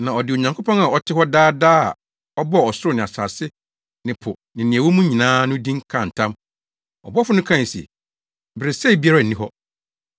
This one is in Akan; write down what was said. na ɔde Onyankopɔn a ɔte hɔ daa daa a ɔbɔɔ ɔsoro ne asase ne po ne nea ɛwɔ mu nyinaa no din kaa ntam. Ɔbɔfo no kae se, “Beresɛe biara nni hɔ.